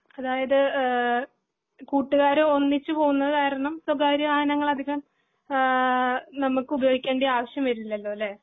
അതായത് ഏഹ് കൂട്ടുകാർ ഒന്നിച്ച് പോകുന്ന കാരണം സ്വകാര്യ വാഹനങ്ങൾ അധികം ആഹ് നമുക്ക് ഉപയോഗിക്കേണ്ട ആവിശ്യം വരില്ലലോ അല്ലെ